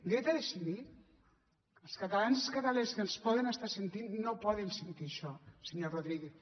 dret a decidir els catalans i les catalanes que ens poden estar sentint no poden sentir això senyor rodríguez